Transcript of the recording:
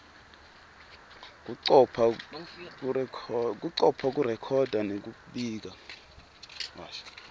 kucopha kurekhoda nekubika